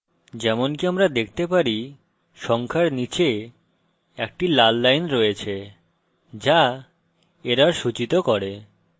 যেমনকি আমরা দেখতে পারি সংখ্যার নীচে একটি লাল line রয়েছে যা error সূচিত করে